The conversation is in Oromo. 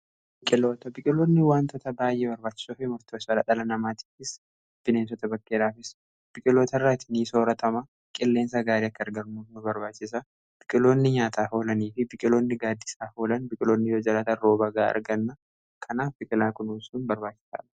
biqiloota biqiloonni waantoota baay'ee barbaachisoo fi murtessoodha dhala namaatifiis bineensota bakkeedhafiis biqiloota irraati ni sooratama qilleensa gaarii akka argannuuf nu barbaachisa biqqiloonni nyaataaf olanii fi biqiloonni gaaddisaaf olan biqqiloonni yoo jiraatan rooba ga'aa arganna kanaaf biqilaa kunuusun barbaachisaaa